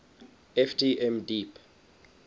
ft m deep